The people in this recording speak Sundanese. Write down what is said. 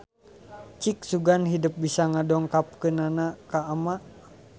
Cik sugan hidep bisa ngadongengkeunana ka Ama.